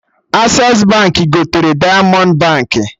Accessi Baankị gotere Diamond Baankị